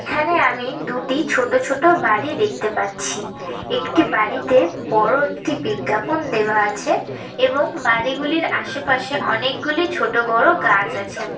এখানে আমি দুটি ছোটো ছোটো বাড়ি দেখতে পাচ্ছি । একটি বাড়িতে বড়ো একটি বিজ্ঞাপন দেওয়া আছে এবং বাড়িগুলির আশেপাশে অনেকগুলি ছোট বড়ো গাছ আছেন।